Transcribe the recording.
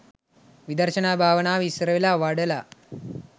විදර්ශනා භාවනාව ඉස්සර වෙලා වඩලා